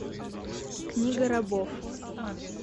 книга рабов